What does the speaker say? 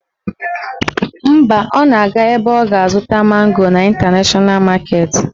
Mba, ọ na-aga ebe ọ ga-azụta mango n' Ịntanashọna maketi